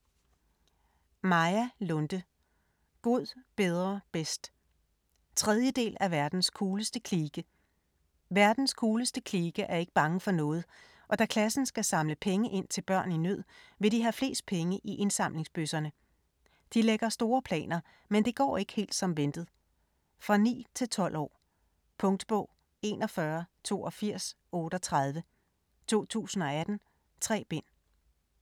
Lunde, Maja: God, bedre, bedst 3. del af Verdens cooleste klike. Verdens cooleste klike er ikke bange for noget, og da klassen skal samle penge ind til børn i nød vil de have flest penge i indsamlingsbøsserne. De lægger store planer, men det går ikke helt som ventet. For 9-12 år. Punktbog 418238 2018. 3 bind.